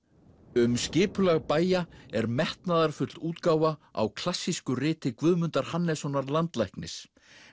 um skipulag bæja er metnaðarfull útgáfa á klassísku riti Guðmundar Hannessonar landlæknis